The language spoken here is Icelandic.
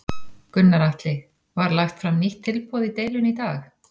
Gunnar Atli: Var lagt fram nýtt tilboð í deilunni í dag?